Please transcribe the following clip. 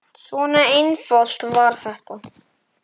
Svona einfalt var þetta.